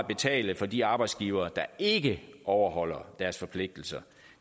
betale for de arbejdsgivere der ikke overholder deres forpligtelser